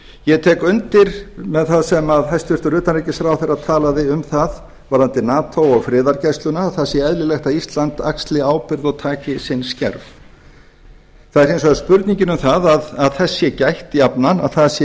ég tek undir með það sem hæstvirtur utanríkisráðherra talaði um varðandi nato og friðargæsluna að það sé eðlilegt að ísland axli ábyrgð og taki sinn skerf það er hins vegar spurningin um að þess sé gætt jafnan að það sé